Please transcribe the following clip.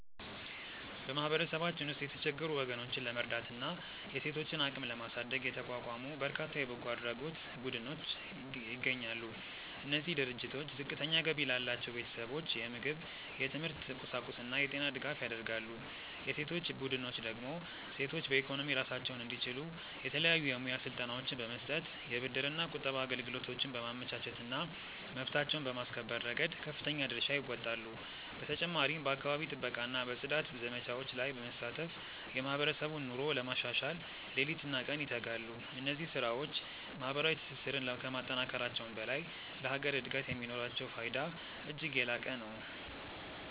በማህበረሰባችን ውስጥ የተቸገሩ ወገኖችን ለመርዳትና የሴቶችን አቅም ለማሳደግ የተቋቋሙ በርካታ የበጎ አድራጎት ቡድኖች ይገኛሉ። እነዚህ ድርጅቶች ዝቅተኛ ገቢ ላላቸው ቤተሰቦች የምግብ፣ የትምህርት ቁሳቁስና የጤና ድጋፍ ያደርጋሉ። የሴቶች ቡድኖች ደግሞ ሴቶች በኢኮኖሚ ራሳቸውን እንዲችሉ የተለያዩ የሙያ ስልጠናዎችን በመስጠት፣ የብድርና ቁጠባ አገልግሎቶችን በማመቻቸትና መብታቸውን በማስከበር ረገድ ከፍተኛ ድርሻ ይወጣሉ። በተጨማሪም በአካባቢ ጥበቃና በጽዳት ዘመቻዎች ላይ በመሳተፍ የማህበረሰቡን ኑሮ ለማሻሻል ሌሊትና ቀን ይተጋሉ። እነዚህ ስራዎች ማህበራዊ ትስስርን ከማጠናከራቸውም በላይ ለሀገር እድገት የሚኖራቸው ፋይዳ እጅግ የላቀ ነው።